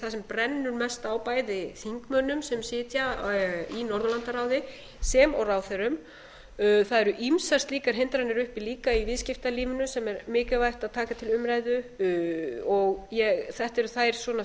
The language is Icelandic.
sem brennur mest á bæði þingmönnum sem sitja í norðurlandaráði sem og ráðherrum það eru ýmsar slíkar hindranir uppi líka í viðskiptalífinu sem er mikilvægt að taka til umræðu þetta eru þær